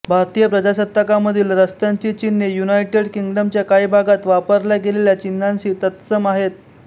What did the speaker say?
भारतीय प्रजासत्ताकामधील रस्त्यांची चिन्हे युनायटेड किंगडमच्या काही भागात वापरल्या गेलेल्या चिन्हांशी तत्सम आहेत